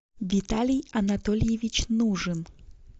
виталий анатольевич нужен